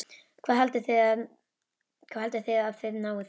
Hvað haldið þið að þið náið þessu?